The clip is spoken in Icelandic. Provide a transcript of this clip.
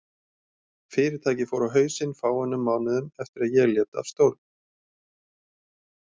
Fyrirtækið fór á hausinn fáeinum mánuðum eftir að ég lét af stjórn.